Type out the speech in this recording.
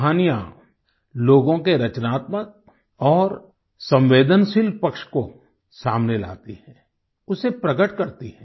कहानियाँ लोगों के रचनात्मक और संवेदनशील पक्ष को सामने लाती हैं उसे प्रकट करती हैं